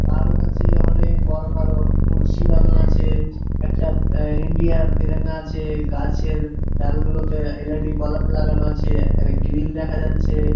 কারো কাছে অনেক বড় বড় লাগানো আছে। একটা ইন্ডিয়া তেরঙ্গা আছে গাছের ডালগুলোতে এল.ই.ডি বালব লাগানো আছে। গ্রিল দেখা যাচ্ছে।